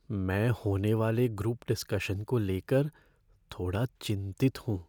मैं होने वाले ग्रुप डिस्कशन को लेकर थोड़ा चिंतित हूँ।